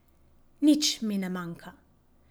Nič mi ne manjka.